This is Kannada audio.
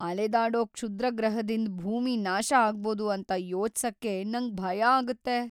ಅಲೆದಾಡೋ ಕ್ಷುದ್ರಗ್ರಹದಿಂದ್ ಭೂಮಿ ನಾಶ ಅಗ್ಬೋದು ಅಂತ ಯೊಚ್ಸಕೆ ನಂಗ್ ಭಯ ಆಗುತ್ತೆ.